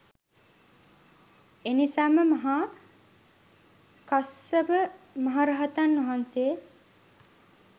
එනිසාම මහා කස්සප රහතන් වහන්සේ